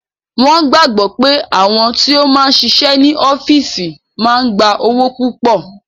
Wọn gbàgbọ́ pé àwọn tí ó máa ń ṣiṣẹ́ ní ọ́físì máa ń gba owó púpọ̀